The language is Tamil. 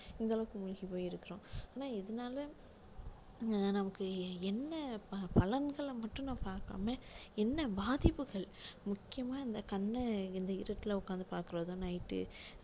இந்த அளவுக்கு மூழ்கி போய் இருக்குறோம் ஆனா எதுனால நமக்கு எ~ என்ன ப~ பலன்களை மட்டும் நான் பாக்காம என்ன பாதிப்புகள் முக்கியமா இந்த கண்ண இந்த இருட்டுல உட்கார்ந்து பாக்குறதும் night உ